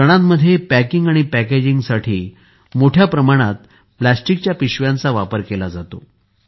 सणांमध्ये पॅकिंग आणि पॅकेजिंगसाठी मोठ्याप्रमाणात प्लास्टिकच्या पिशव्यांचा वापर केला जातो